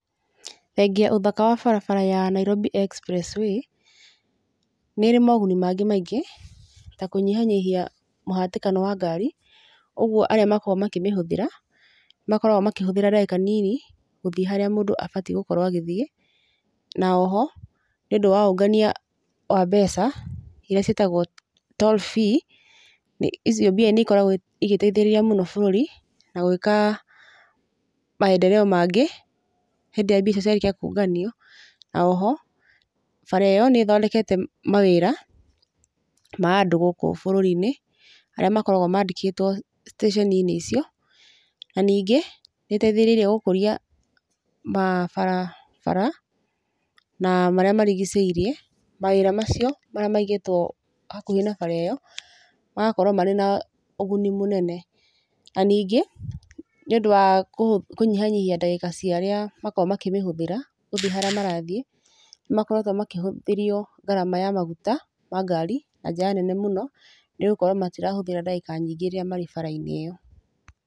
Thengia wa ũthaka wa barabara ya Nairobi Expressway, nĩ ĩrĩ moguni mangĩ maingĩ, ta kũnyihanyihia mũhatĩkano wa ngaari, ũguo arĩa makoragwo makĩmĩhũthĩra, nĩ makoragwo makĩhũthĩra ndagĩka nini, gũthiĩ harĩa mũndũ abatie gũkorwo agĩthiĩ. Na oho, nĩ ũndũ wa ũngania wa mbeca, iria ciĩtagwo toll fee, icio mbia nĩ ikoragwo igĩteithĩrĩria mũno bũrũri, na gwĩka maendeleo mangĩ, hĩndĩ ĩrĩa mbia icio ciarĩkia kũnganio. Na oho, bara ĩyo nĩ ĩthondekete mawĩra ma andũ gũkũ bũrũri-inĩ, arĩa makoragwo mandĩkĩtwo station -inĩ cio. Na ningĩ, nĩ ĩteithĩrĩirie gũkũria mabarabara na marĩa marigicĩirie, mawĩra macio marĩa maigĩtwo hakuhĩ na bara ĩyo, magakorwo marĩ na ũguni mũnene. Na ningĩ, nĩ ũndũ wa kũnyihanyihia ndagĩka cia arĩa makoragwo makĩmĩhũthĩra gũthiĩ harĩa marathiĩ nĩ makoretwo makĩhũthĩrio ngarama ya maguta ma ngari na njĩra nene mũno, nĩ gũkorwo matirahũthĩra ndagĩka nyingĩ rĩrĩa marĩ bara-inĩ ĩyo.